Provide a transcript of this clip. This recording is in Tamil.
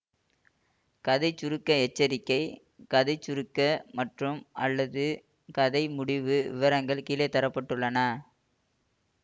கதை சுருக்க எச்சரிக்கை கதை சுருக்க மற்றும்அல்லது கதை முடிவு விவரங்கள் கீழே தர பட்டுள்ளன